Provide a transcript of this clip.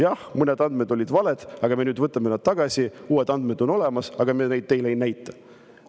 Jah, mõned andmed olid valed, aga me nüüd võtame tagasi, uued andmed on olemas, aga me neid teile ei näita.